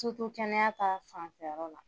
Tutu kɛnɛya ta fanfɛ yɔrɔ la.